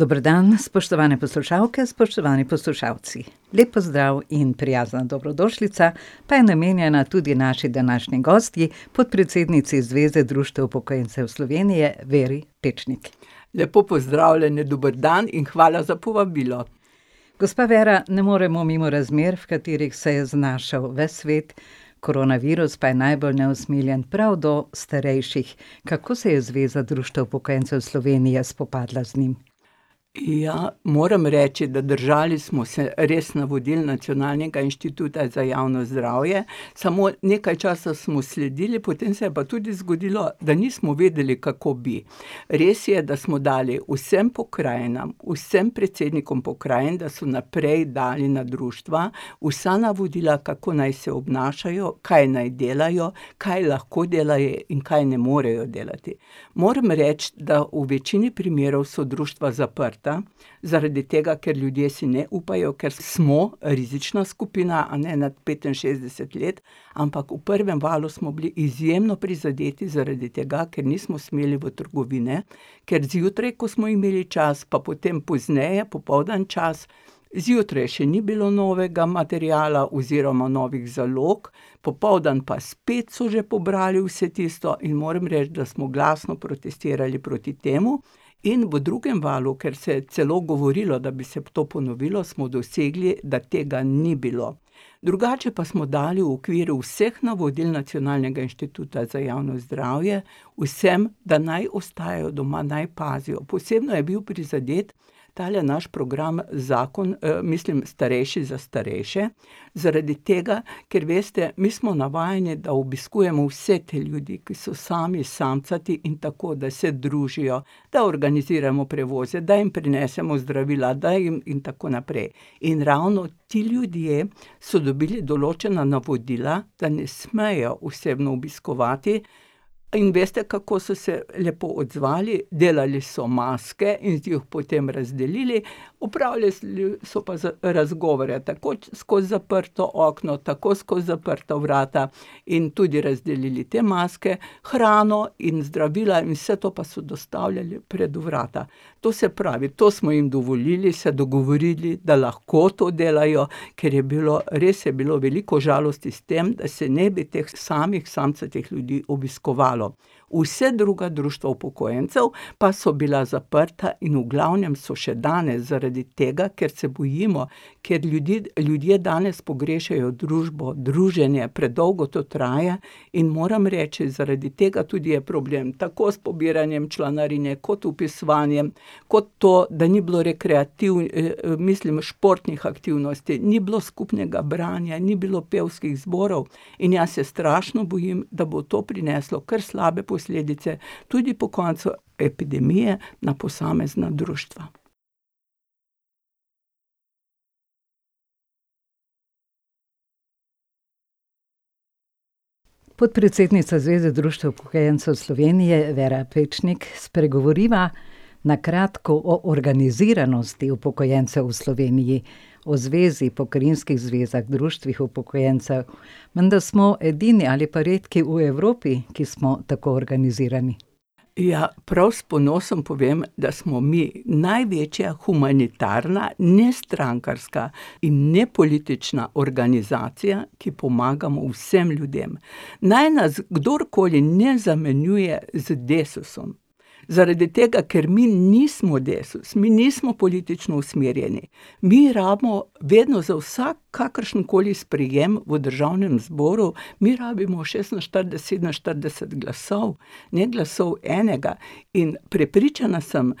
Dober dan, spoštovane poslušalke, spoštovani poslušalci. Lep pozdrav in prijazna dobrodošlica pa je namenjena tudi naši današnji gostji, podpredsednici Zveze društev upokojencev Slovenije, Veri Pečnik. Lepo pozdravljeni, dober dan in hvala za povabilo. Gospa Vera, ne moremo mimo razmer, v katerih se je znašel ves svet. Koronavirus pa je najbolj neusmiljen prav do starejših. Kako se je Zveza društev upokojencev Slovenije spopadla z njim? Ja. Moram reči, da držali smo se res navodil Nacionalnega inštituta za javno zdravje. Samo nekaj časa smo sledili, potem se je pa tudi zgodilo, da nismo vedeli, kako bi. Res je, da smo dali vsem pokrajinam, vsem predsednikom pokrajin, da so naprej dali na društva vsa navodila, kako naj se obnašajo, kaj naj delajo, kaj lahko delajo in kaj ne morejo delati. Morami reči, da v večini primerov so društva zaprta zaradi tega, ker ljudje si ne upajo, ker smo rizična skupina, a ne, nad petinšestdeset let, ampak v prvem valu smo bili izjemno prizadeti zaradi tega, ker nismo smeli v trgovine, ker zjutraj, ko smo imeli čas, pa potem pozneje, popoldan čas, zjutraj še ni bilo novega materiala oziroma novih zalog, popoldan pa spet so že pobrali vse tisto in moram reči, da smo glasno protestirali proti temu. In v drugem valu, ker se je celo govorilo, da bi se to ponovilo, smo dosegli, da tega ni bilo. Drugače pa smo dali v okviru vseh navodil Nacionalnega inštituta za javno zdravje vsem, da naj ostajajo doma, naj pazijo. Posebno je bil prizadet tale naš program Zakon, mislim Starejši za starejše zaradi tega, ker veste, mi smo navajeni, da obiskujemo vse te ljudi, ki so sami samcati in tako, da se družijo, da organiziramo prevoze, da jim prinesemo zdravila, da jim ... In tako naprej. In ravno ti ljudje so dobili določena navodila, da ne smejo osebno obiskovati, in veste, kako so se lepo odzvali. Delali so maske in jih potem razdelili, opravljali so pa razgovore, tako skozi zaprto okno, tako skozi zaprta vrata in tudi razdelili te maske. Hrano in zdravila in vse to pa so dostavljali pred vrata. To se pravi, to smo jim dovolili, se dogovorili, da lahko to delajo, ker je bilo, res je bilo veliko žalosti s tem, da se ne bi teh samih samcatih ljudi obiskovalo. Vse druga društva upokojencev pa so bila zaprta in v glavnem so še danes zaradi tega, ker se bojimo, ker ljudje, ljudje danes pogrešajo družbo, druženje, predolgo to traja. In moram reči, zaradi tega tudi je problem, tako s pobiranjem članarine kot vpisovanjem kot to, da ni bilo mislim športnih aktivnosti. Ni bilo skupnega branja, ni bilo pevskih zborov in jaz se strašno bojim, da bo to prineslo kar slabe posledice, tudi po koncu epidemije, na posamezna društva. Podpredsednica Zveze društev upokojencev Slovenije, Vera Pečnik, spregovoriva na kratko o organiziranosti upokojencev v Sloveniji, o Zvezi, pokrajinskih zvezah, društvih upokojencev. Menda smo edini ali pa redki v Evropi, ki smo tako organizirani. Ja. Prav s ponosom povem, da smo mi največja humanitarna nestrankarska in nepolitična organizacija, ki pomagamo vsem ljudem. Naj nas kdorkoli ne zamenjuje z Desusom zaradi tega, ker mi nismo Desus, mi nismo politično usmerjeni. Mi rabimo vedno za vsak, kakršenkoli sprejem v državnem zboru, mi rabimo šestinštirideset, sedeminštirideset glasov. Ne glasov enega. In prepričana sem,